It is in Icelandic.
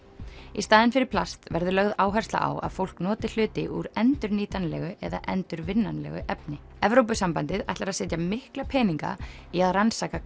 í staðinn fyrir plast verður lögð áhersla á að fólk noti hluti úr endurnýtanlegu eða endurvinnanlegu efni Evrópusambandið ætlar að setja mikla peninga í að rannsaka